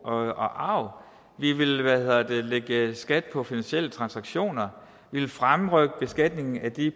og arv vi vil lægge skat på finansielle transaktioner vi vil fremrykke beskatningen af de